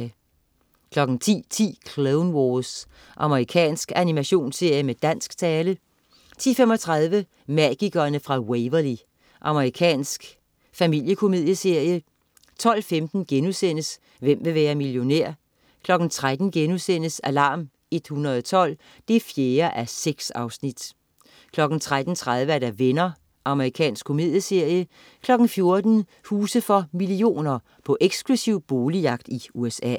10.10 Clone Wars. Amerikansk animationsserie med dansk tale 10.35 Magikerne fra Waverly. Amerikansk familiekomedieserie 12.15 Hvem vil være millionær?* 13.00 Alarm 112 4:6* 13.30 Venner. Amerikansk komedieserie 14.00 Huse for millioner. På eksklusiv boligjagt i USA